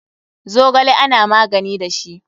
Zogale ana magani da shi.